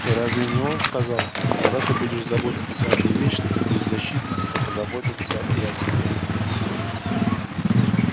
и разве не он сказал когда ты будешь заботиться об увечных и беззащитных то позаботятся и о тебе